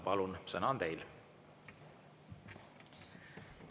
Palun, sõna on teil!